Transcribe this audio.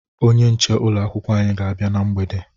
Onye nche ụlọ akwụkwọ anyị ga-abịa na mgbede